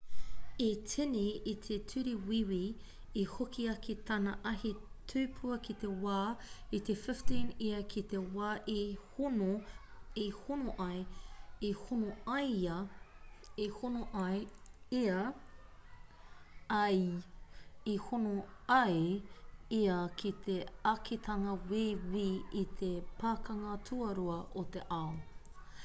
i tīni i te ture wīwi i hoki ake tana ahi tupua ki te wā i te 15 ia ki te wā i hono ai ia ki te ākitanga wīwi i te pakanga tuarua o te ao